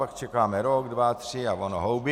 Pak čekáme rok, dva, tři, a ono houby.